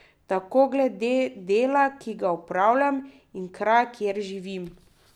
Tako glede dela, ki ga opravljam, in kraja, kjer živim.